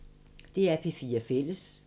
DR P4 Fælles